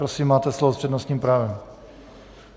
Prosím, máte slovo s přednostním právem.